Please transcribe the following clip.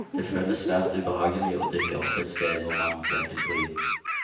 Det føles svært ubehagelig å dukke opp et sted hvor man blir til bry.